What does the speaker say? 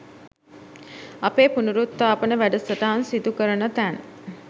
අපේ පුනරුත්තාපන වැඩසටහන් සිදුකරන තැන්